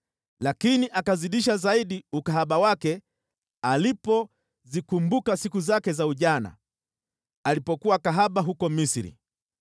Lakini akazidisha zaidi ukahaba wake alipozikumbuka siku zake za ujana, alipokuwa kahaba huko Misri.